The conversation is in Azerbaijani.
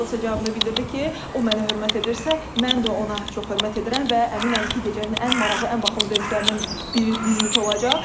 Nikolas cavabını bildirdi ki, o mənə hörmət edirsə, mən də ona çox hörmət edirəm və əminəm ki, gecənin ən maraqlı, ən bahalı döyüşlərindən biri bizimki olacaq.